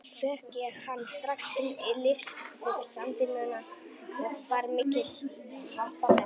Fékk ég hann strax til liðs við Samvinnuna og var mikill happafengur.